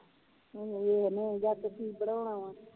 ਹੁਣ ਵੇਖਣੇ ਆ ਜਾ ਕੇ ਕੀ ਬਣਾਓਣਾ ਵਾ